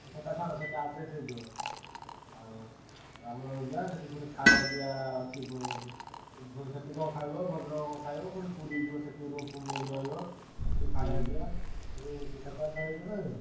ଆଉ ସେଟା ଛାଡ ସେଟା adjust ହେଇଯିବ। ଆଉ ରାମନବମୀ ଯିବା ସେଠି ପୁଣି ଖାୟା ପିୟା ଅଛି ପୁ~ ଉ~ ସେ ପୁଣି ସେଠି କଣ ଖାଇବ ଭଦ୍ରକରେ କଣ ଖାଇବ ପୁଣି ପୁରୀ ଯିବ ସେଠି room ଫୁମ ନେଇକି ରହିବ। ସେଠି ଆଉ ଯୋଉ କଥାବାର୍ତ୍ତା ହେଇଛ ନା ହେଇନ?